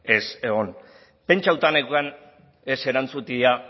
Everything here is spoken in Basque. ez egon pentsatuta neukan ez erantzutea